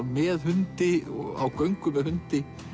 með hundi á göngu með hundi